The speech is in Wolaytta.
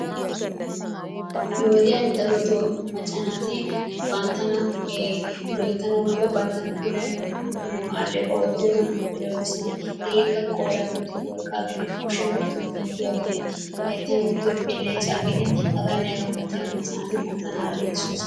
Nu wodiyan darootoo macca naati banttana loyttanawu woykko banttana puulayanawu dumma dumma aleeqquwa oottiyogan puulayoosona. Hegeekka qooriyan wottiyo worqqaa gidin, kushshiyan wottiyo migiduwa gidin, hayttan wottiyo beleccaa gidin hagaane haga malabatun maca naati banttana aleeqqisoosona.